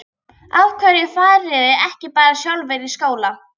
Af hverju fariði ekki bara sjálfar í skóla?